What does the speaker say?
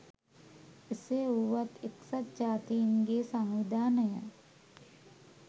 එසේ වුවත් එක්සත් ජාතීන්ගේ සංවිධානය